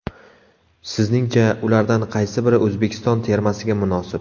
Sizningcha, ulardan qaysi biri O‘zbekiston termasiga munosib?